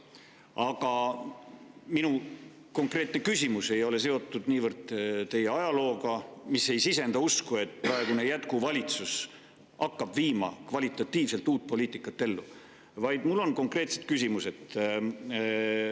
Aga minu küsimus ei ole seotud niivõrd teie ajalooga, mis ei sisenda usku, et praegune jätkuvalitsus hakkab viima ellu kvalitatiivselt uut poliitikat, vaid mul on konkreetne küsimus.